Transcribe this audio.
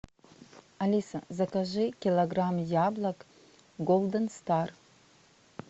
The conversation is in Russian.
алиса закажи килограмм яблок голден стар